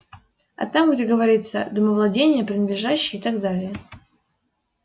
а там где говорится домовладение принадлежащее и так далее